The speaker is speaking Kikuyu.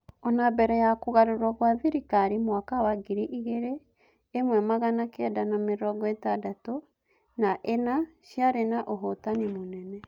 Ona-mbere ya Kũgarũrwo gwa-thirikari mũaka wa ngiri ĩmwe magana kenda na mĩrongoĩtandatũ na-ĩna ciarĩ na ũhotani mũnene.